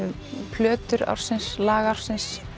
plötur ársins lag ársins